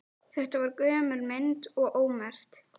Þetta var gömul mynd og ómerkt.